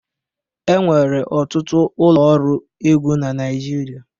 Enwere ọtụtụ ụlọ ọrụ ego na Naịjirịa